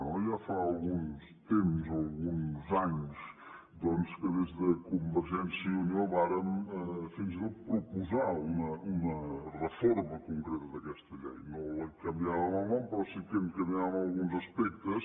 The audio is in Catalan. ja fa uns temps alguns anys doncs que des del convergència i unió vàrem fins i tot proposar una reforma concreta d’aquesta llei no en canviàvem el nom però sí que en canviàvem alguns aspectes